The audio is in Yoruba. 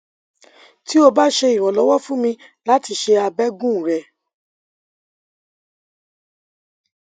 ti o ba ṣe iranlọwọ fun mi lati ṣe abẹgun rẹ